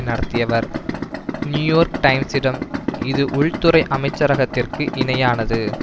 நடத்தியவர் New York டைம்ஸிடம் இது உள்துறை அமைச்சரகத்திற்கு இணையானது